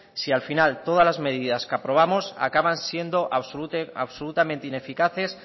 si al final todas las medidas que aprobamos acaban siendo absolutamente ineficaces